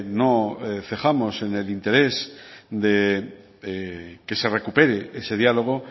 no dejamos en el interés de que se recupere ese diálogo